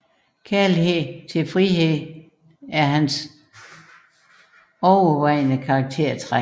Kærlighed til frihed er hans overvejende karaktertræk